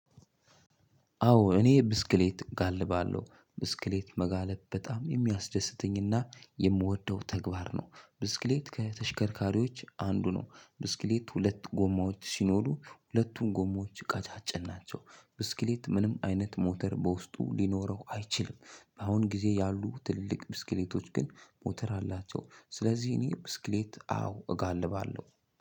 አዎ እኔ ብስክሌት እጋልባለሁ ብስክሌት መጋለብ በጣም የሚያስደስተኝና የምወደው ተግባር ነው። ብስክሌት ከተሽከርካሪዎች አንዱ ነው ብስክሌት ሁለት ጎማዎች ሲኖሩ ሁለቱን ጎሞዎች ቀጫጭን ናቸው። ብስክሌት ምንም አይነት ሞተር በውስጡ ሊኖረው አይችልም። በአሁን ጊዜ ያሉ ትልልቅ ብስክሌቶች ግን ሞተር አላቸው ስለዚህ እኔ ብስክሌት አዎ እጋልባለሁ።